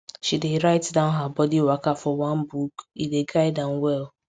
she dey write down her body waka for one book e dey guide am well